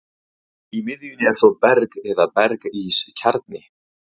Í miðjunni er svo berg eða berg-ís kjarni.